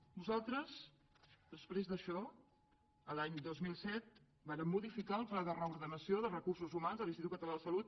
nosaltres després d’això l’any dos mil set vàrem modificar el pla de reordenació de recursos humans de l’institut català de la salut